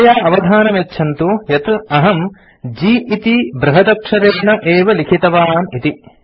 कृपया अवधानं यच्छन्तु यत् अहं G इति बृहदक्षरेण एव लिखितवान् इति